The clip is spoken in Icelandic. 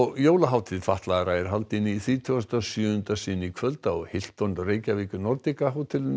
jólahátíð fatlaðra er haldin í þrítugasta og sjöunda sinn í kvöld á Reykjavík Nordica